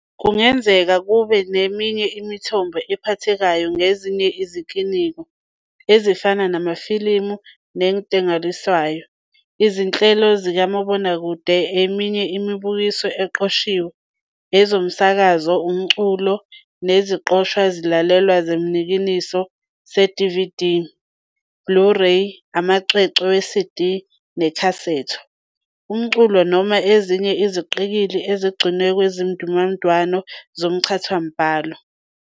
Kungenzeka kube neminye imithombo ephathekayo ngezinye izinikino, ezifana namafilimi wezentengiselwano, izinhlelo zikamobonakude, eminye imibukiso eqoshiwe, ezomsakazo, umculo neziqoshwa zezilalwelwa zesinikino se-DVD, Blu-ray, amacwecwe we-CD nekhasetho, singakabali ufikelelo lokwaziswa, umculo noma ezinye iziqikili ezigcinwe kwezizindamniningo zomchazamibhalo.